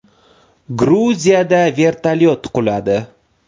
Gruziyada vertolyot quladi.